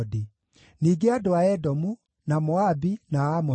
ningĩ andũ a Edomu, na Moabi na Amoni;